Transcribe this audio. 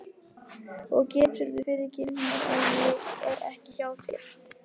Og geturðu fyrirgefið mér að ég er ekki hjá þér?